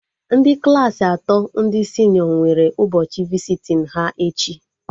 Ndị Klassị atọ ndị senịọ nwere ụbọchị visitin ha echi